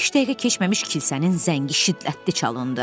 Beş dəqiqə keçməmiş kilsənin zəngi şiddətli çalındı.